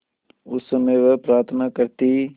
उस समय वह प्रार्थना करती